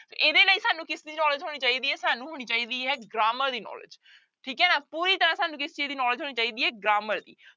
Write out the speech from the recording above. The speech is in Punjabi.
ਇਹਦੇ ਲਈ ਸਾਨੂੰ ਕਿਸਦੀ knowledge ਹੋਣੀ ਚਾਹੀਦੀ ਹੈ ਸਾਨੂੰ ਹੋਣੀ ਚਾਹੀਦੀ ਹੈ grammar ਦੀ knowledge ਠੀਕ ਹੈ ਨਾ, ਪੂਰੀ ਤਰ੍ਹਾਂ ਸਾਨੂੰ ਕਿਸ ਚੀਜ਼ ਦੀ knowledge ਹੋਣੀ ਚਾਹੀਦੀ ਹੈ grammar ਦੀ।